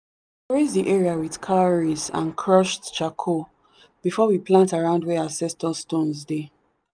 the area with cowries and crushed charcoal before we plant around where ancestor stones dey.